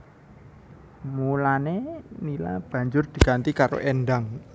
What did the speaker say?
Mulané Nila banjur diganti karo Endang